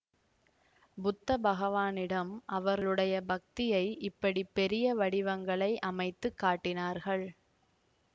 புத்த பகவானிடம் அவர்களுடைய பக்தியை இப்படி பெரிய வடிவங்களை அமைத்து காட்டினார்கள்